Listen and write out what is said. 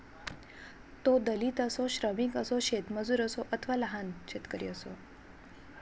तो दलित असो श्रमिक असो शेतमजूर असो अथवा लहान शेतकरी असो